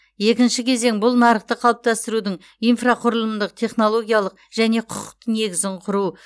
екінші кезең бұл нарықты қалыптастырудың инфрақұрылымдық технологиялық және құқықтық негізін құру